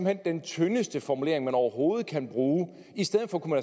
hen den tyndeste formulering man overhovedet kan bruge i stedet for kunne